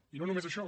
i no només això